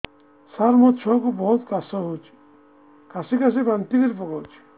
ସାର ମୋ ଛୁଆ କୁ ବହୁତ କାଶ ହଉଛି କାସି କାସି ବାନ୍ତି କରି ପକାଉଛି